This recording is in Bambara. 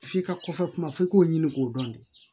F'i ka kɔfɛ kuma f'i k'o ɲini k'o dɔn de